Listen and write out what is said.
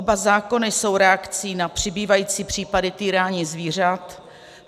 Oba zákony jsou reakcí na přibývající případy týrání zvířat.